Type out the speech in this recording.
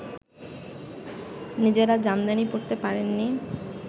নিজেরা জামদানি পরতে পারেননি